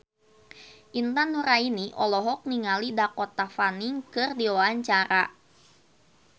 Intan Nuraini olohok ningali Dakota Fanning keur diwawancara